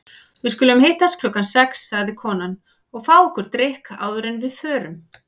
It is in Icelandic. Við skulum hittast klukkan sex, sagði konan, og fá okkur drykk áður en við förum.